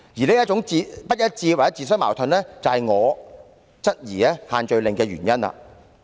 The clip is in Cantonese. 這種不一致或自相矛盾，也是我質疑限聚令的原因。